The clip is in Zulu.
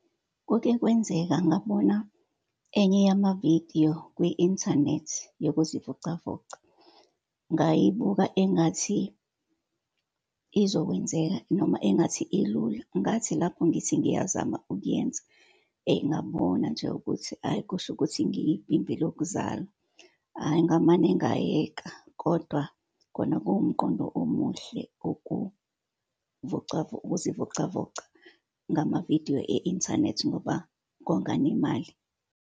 Kuke kwenzeka ngabona enye yamavidiyo kwi-inthanethi, yokuzivocavoca. Ngayibuka engathi izokwenzeka, noma engathi ilula. Ngathi lapho ngithi ngiyazama ukuyenza, ngabona nje ukuthi ayi, kusho ukuthi ngiyibhimbi lokuzalwa. Hhayi, ngamane ngayeka. Kodwa khona kuwumqondo omuhle ukuzivocavoca ngamavidiyo e-inthanethi ngoba konga nemali.